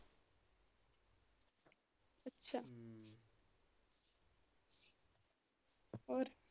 ਹੋਰ?